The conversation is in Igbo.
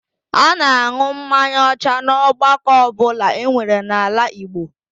A na-an̄ụ mmanya ọcha n'ọgbakọ ọbụla enwere n'ala Igbo